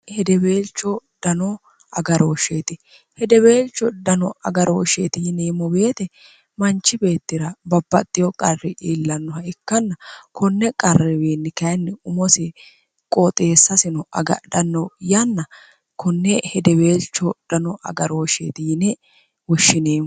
hidebeelcho dno agarooshsheeti hidebeelcho dano agarooshsheeti yiniimmo beete manchi beettira babbaxxiho qarri iillannoha ikkanna kunne qarriwiinni kayinni umosi qooxeessasino agadhanno yanna kunne hidebeelcho dano agarooshsheeti yine woshshineimmo